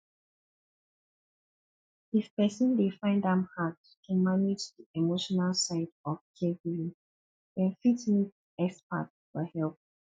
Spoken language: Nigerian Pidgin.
if person dey find am hard to manage di emotional side of caregiving dem fit meet expert for help